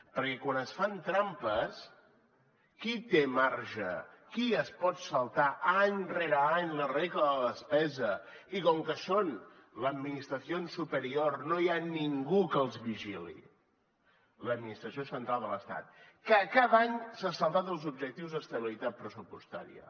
perquè quan es fan trampes qui té marge qui es pot saltar any rere any la regla de la despesa i com que són la administración superior no hi ha ningú que els vigili l’administració central de l’estat que cada any s’ha saltat els objectius d’estabilitat pressupostària